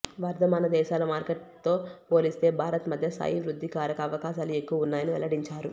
వర్ధమాన దేశాల మార్కెట్లతో పోలిస్తే భారత్ మధ్యస్థాయి వృద్ధికారక అవకాశాలు ఎక్కువ ఉన్నాయని వెల్లడించారు